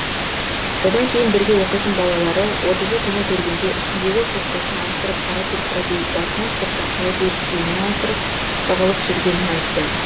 содан кейін бірге оқитын балалары отызы күні көргенде үстіндегі курткасын ауыстырып қара куртка киіп басына сұр тақия киіп киімін ауыстырып тығылып жүргенін айтты